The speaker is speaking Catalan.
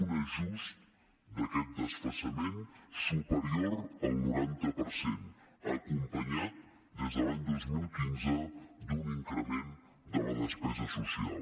un ajust d’aquest desfasament superior al noranta per cent acompanyat des de l’any dos mil quinze d’un increment de la despesa social